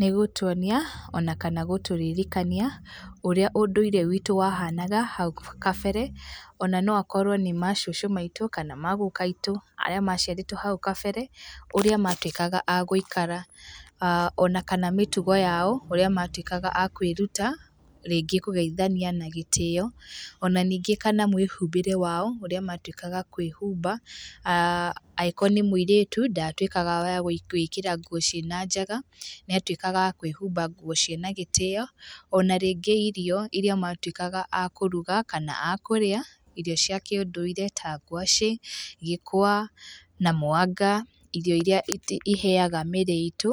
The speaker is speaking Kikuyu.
Nĩgũtuonia ona kana gũtũririkania ũrĩa ũndũire witũ wahanaga hau gabere, ona no akorwo nĩ macũcũ maitũ kana maguka aitũ arĩa maciarĩtwo hau kabere ũrĩa matuĩkaga a gũikara, ona kana mĩtugo yao ũrĩa matuĩkaga a kwĩruta ringĩ kũgeithania na gĩtĩo, ona ningĩ kana mũĩhumbĩre wao ũrĩa matuĩkaga a kũĩhumba, angĩkorwo nĩ mũirĩtu ndatuĩkaga wa gũĩkĩra nguo cĩĩna njaga nĩatũĩkaga a kũĩhumba nguo cĩĩna gĩtĩo, ona rĩngĩ irio iria matũĩkaga a kũruga kana a kũrĩa irio cia kĩũndũire ta ngwacĩ, gĩkwa na mwanga irio iria ĩheaga mĩĩrĩ itũ